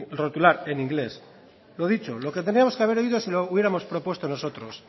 rotular en inglés lo dicho lo que teníamos que haber oído si lo hubiéramos propuesto nosotros